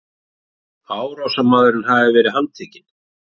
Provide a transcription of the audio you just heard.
Árásarmaðurinn hafi verið handtekinn